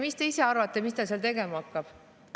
Mis te ise arvate, mida ta seal tegema hakkab?